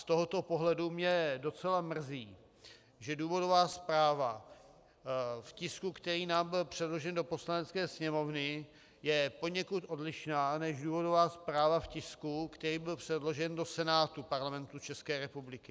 Z tohoto pohledu mě docela mrzí, že důvodová zpráva v tisku, který nám byl předložen do Poslanecké sněmovny, je poněkud odlišná než důvodová zpráva v tisku, který byl předložen do Senátu Parlamentu České republiky.